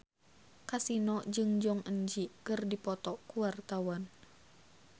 Kasino jeung Jong Eun Ji keur dipoto ku wartawan